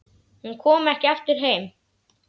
Hún kom ekki aftur heim.